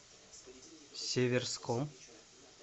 северском